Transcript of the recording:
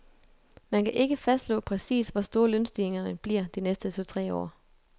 Man kan ikke fastslå præcis, hvor store lønstigningerne bliver de næste to tre år.